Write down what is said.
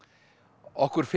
okkur finnst